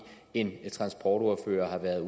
en transportordfører har været